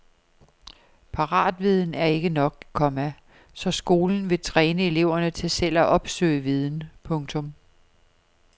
Paratviden er ikke nok, komma så skolen vil træne eleverne til selv at opsøge viden. punktum